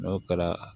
N'o kɛra